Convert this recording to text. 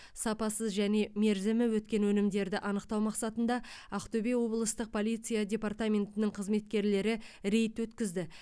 сапасыз және мерзімі өткен өнімдерді анықтау мақсатында ақтөбе облыстық полиция департаментінің қызметкерлері рейд өткізді